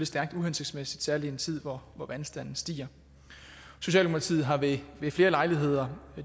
stærkt uhensigtsmæssigt særlig i en tid hvor vandstanden stiger socialdemokratiet har ved flere lejligheder